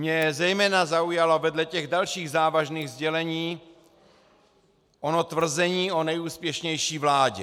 Mě zejména zaujalo vedle těch dalších závažných sdělení ono tvrzení o nejúspěšnější vládě.